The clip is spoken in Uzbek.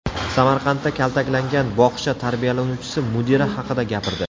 Samarqandda kaltaklangan bog‘cha tarbiyalanuvchisi mudira haqida gapirdi.